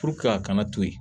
a kana to yen